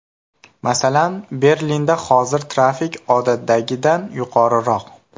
Masalan, Berlinda hozir trafik odatdagidan yuqoriroq.